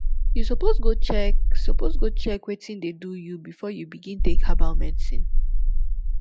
you suppose go check suppose go check wetin dey do you before you begin take herbal medicine